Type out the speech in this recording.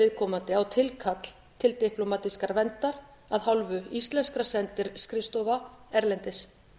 viðkomandi á tilkall til diplómatískrar verndar af hálfu íslenskra sendiskrifstofa erlendis